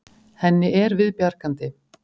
Henni er við bjargandi.